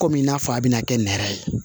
Kɔmi n'a fɔ a bɛna kɛ nɛrɛ ye